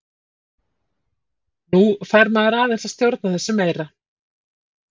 Nú fær maður aðeins að stjórna þessu meira.